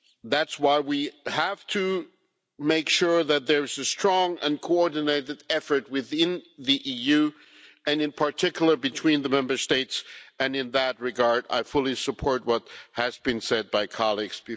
That is why we have to make sure that there is a strong and coordinated effort within the EU and, in particular, between the Member States, and in that regard, I fully support what has been said previously by colleagues.